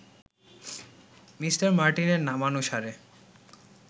Me. মার্টিনের নামানুসারে